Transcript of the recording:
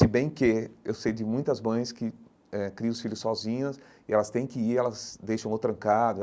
Se bem que eu sei de muitas mães que eh criam os filhos sozinhas e elas têm que ir, e elas deixam ou trancado.